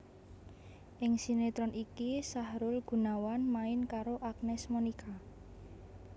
Ing sinetron iki Sahrul Gunawan main karo Agnes Monica